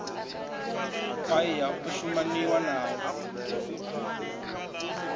paia a o shumaniwa nao